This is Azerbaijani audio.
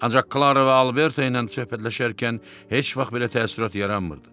Ancaq Klaro və Alberto ilə söhbətləşərkən heç vaxt belə təəssürat yaranmırdı.